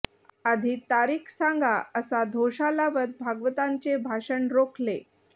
आधी तारीख सांगा असा धोशा लावत भागवतांचे भाषण रोखले